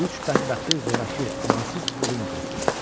Üç bədbəxti zorakı, amansız ölüm gözləyirdi.